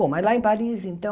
Bom, mas lá em Paris, então,